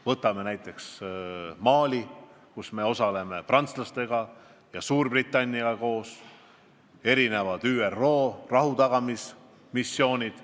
Võtame näiteks Mali, kus me osaleme koos prantslaste ja Suurbritanniaga, erinevad ÜRO rahutagamismissioonid.